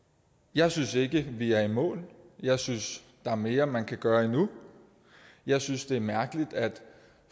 jeg synes ikke vi er i mål jeg synes der er mere man kan gøre jeg synes det er mærkeligt at